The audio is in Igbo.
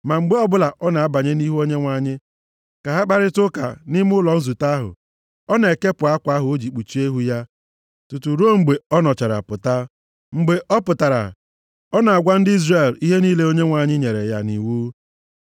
Ma mgbe ọbụla ọ na-abanye nʼihu Onyenwe anyị ka ha kparịtaa ụka nʼime ụlọ nzute ahụ, ọ na-ekepụ akwa ahụ o ji kpuchie ihu ya tutu ruo mgbe ọ nọchara pụta. Mgbe ọ pụtara, ọ na-agwa ndị Izrel ihe niile Onyenwe anyị nyere ya nʼiwu.